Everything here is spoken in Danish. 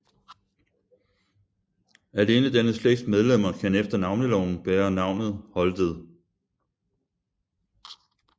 Alene denne slægts medlemmer kan efter Navneloven bære navnet Holtet